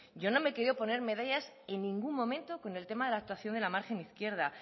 yo no me he querido poner medallas en ningún momento con el tema de la margen izquierda